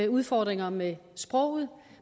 udfordringer med sproget